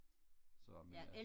så men øh